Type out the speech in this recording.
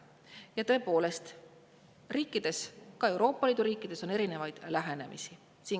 Ja tõepoolest, riikides, ka Euroopa Liidu riikides on selle suhtes erinevaid lähenemisi.